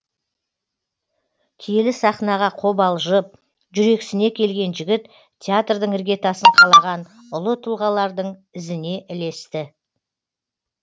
киелі сахнаға қобалжып жүрексіне келген жігіт театрдың іргетасын қалаған ұлы тұлғалардың ізіне ілесті